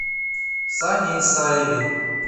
сане исаеве